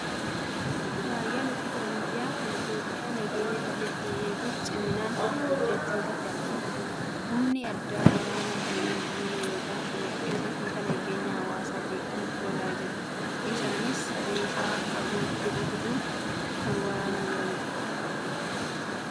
Raayyaan ittisa biyyaa kan Itoophiyaa nageenya biyyattii eeguuf ciminaan hojjechuu irratti argamu. Humni addaa waraanaa kunneen diina yookiin shororkeessitoota nageenya hawaasaa jeeqan lolaa jiru. Isaanis meeshaa fagootti rukutuun kan waraanaa jiranidha.